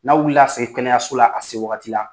N'a wulila ka se kɛnɛyaso la, a se wagati la